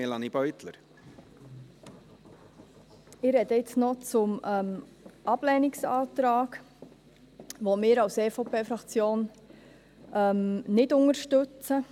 Ich spreche nun noch zum Ablehnungsantrag, welchen wir als EVP-Fraktion nicht unterstützen.